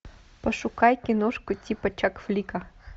пошукай киношку типа чак флика